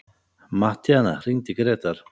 Mattíana, hringdu í Grétar.